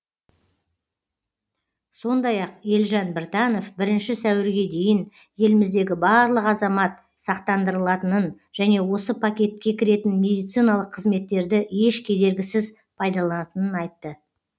сондай ақ елжан біртанов бірінші сәуірге дейін еліміздегі барлық азамат сақтандырылатынын және осы пакетке кіретін медициналық қызметтерді еш кедергісіз пайдаланатынын айтты